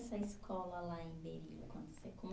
Essa escola lá em Berilo quando você